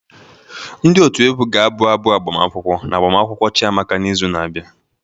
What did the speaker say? Ndị otu egwu ga-abụ abụ agbamakwụkwọ na agbamakwụkwọ Chiamaka n'izu na-abịa